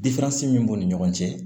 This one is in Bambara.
min b'u ni ɲɔgɔn cɛ